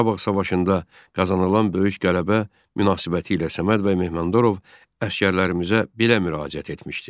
Qarabağ savaşında qazanılan böyük qələbə münasibətilə Səməd bəy Mehmandarov əsgərlərimizə belə müraciət etmişdi.